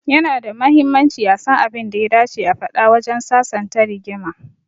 Ya na da mahimmanci a san abin da ya dace a faɗa wajen sasanta rigima.